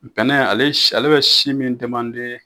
ale ale bɛ si min